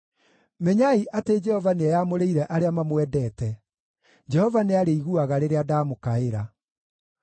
Menyai atĩ Jehova nĩeyamũrĩire arĩa mamwendete; Jehova nĩarĩiguaga rĩrĩa ndamũkaĩra.